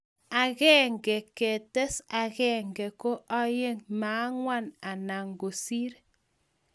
akenge ngi tes akenge ko ayeng ma anguan ana kosir